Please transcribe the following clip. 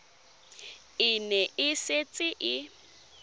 e ne e setse e